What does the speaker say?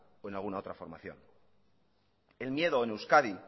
o en alguna otra formación el miedo en euskadi